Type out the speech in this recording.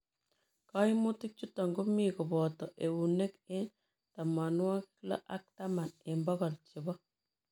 Kaimutii chutook komii kopata euneek eng tamawagik loo ak taman eng pokol chepo